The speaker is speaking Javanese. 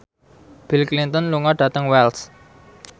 Bill Clinton lunga dhateng Wells